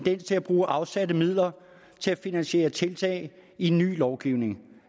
at bruge afsatte midler til at finansiere tiltag i ny lovgivning